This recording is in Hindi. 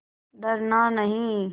डरना नहीं